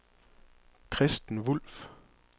Kristen Wulff